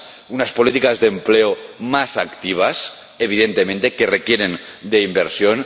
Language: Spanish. unas políticas de empleo más activas, que evidentemente requieren de inversión